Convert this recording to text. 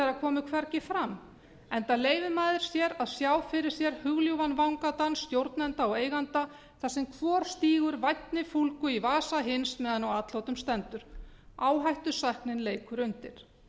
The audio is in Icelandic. komu hvergi fram enda leyfir maður sér að sjá fyrir sér hugljúfan vangadans stjórnenda og eigenda þar sem hver stingur vænni fúlgu í vasa hins meðan á atlotum stendur áhættusæknin leikur undir